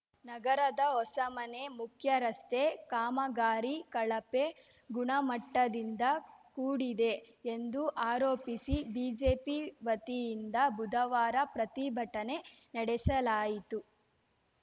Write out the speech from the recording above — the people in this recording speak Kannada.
ನಗರದ ಹೊಸಮನೆ ಮುಖ್ಯರಸ್ತೆ ಕಾಮಗಾರಿ ಕಳಪೆ ಗುಣಮಟ್ಟದಿಂದ ಕೂಡಿದೆ ಎಂದು ಆರೋಪಿಸಿ ಬಿಜೆಪಿ ವತಿಯಿಂದ ಬುಧವಾರ ಪ್ರತಿಭಟನೆ ನಡೆಸಲಾಯಿತು